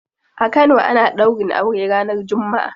A kano ana daurin aure ranar jumma'a.